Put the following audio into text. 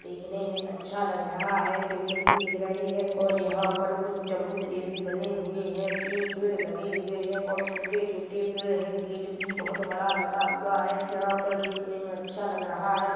देखने में अच्छा लग रहा है पेड़ भी दिख रहे हैं और यहाँ पर कुछ चबूतरे भी बने हुए हैं तीन पेड़ लगे हुए हैं और छोटे- छोटे पेड़ हैं गेट भी बहुत बड़ा लगा हुआ है यहाँ पर देखने में अच्छा लग रहा है--